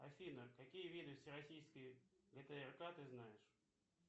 афина какие виды всероссийской гтрк ты знаешь